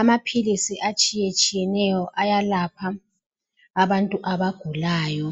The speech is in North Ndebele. Amaphilisi etshiyetshiyeneyo ayalapha abantu abagulayo.